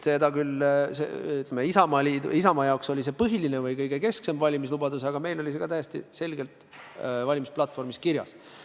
Isamaa jaoks oli see põhiline ehk keskne valimislubadus, aga meilgi oli see täiesti selgelt valimisplatvormis kirjas.